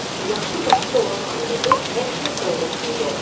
Yaxşı başçı olan ailədə hər şey qaydasında olur.